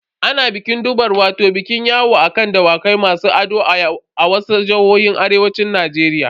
Ana bikin durbar wato bikin yawo a kan Dawakai masu ado a wasu jihohin arewacin Najeriya.